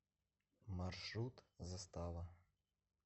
маршрут застава